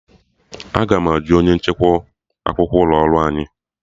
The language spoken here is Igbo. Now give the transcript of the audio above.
Aga m ajụ onye nchekwa akwụkwọ ụlọ ọrụ anyị